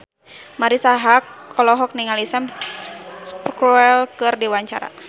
Marisa Haque olohok ningali Sam Spruell keur diwawancara